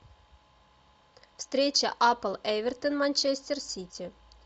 встреча апл эвертон манчестер сити